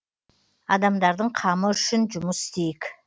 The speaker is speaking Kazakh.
адамдардың қамы үшін жұмыс істейік